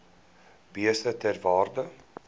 beeste ter waarde